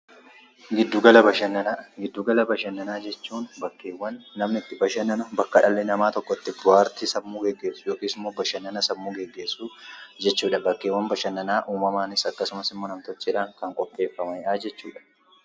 Giddu gala bashannanaa. Giddu gala bashannanaa jechuun bakkeewwan dhalli nama itti bashannanan fi bo'aartii sammuu gaggeessuuf yookiin immoo bashannana sammuu gaggeessuuf akkasumas bakkeewwan badhannanaa uumamaanis ta'e nam-tolcheen kan jiranii dha.